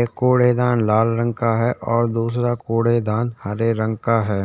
एक कूड़ेदान लाल रंग का है और दूसरा कूड़ेदान हरे रंग का है।